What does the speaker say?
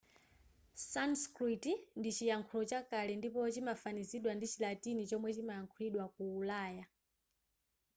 sanskrit ndi chiyankhulo chakale ndipo chimafanizidwa ndi chilatini chomwe chimayankhulidwa ku ulaya